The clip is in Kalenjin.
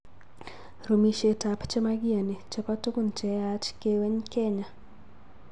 Rumisietab che makiyani chebo tukun che yaach keweny Kenya.